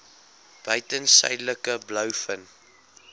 buiten suidelike blouvin